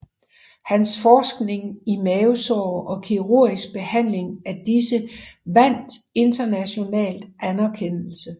Hans forskning i mavesår og kirurgisk behandling af disse vandt international anerkendelse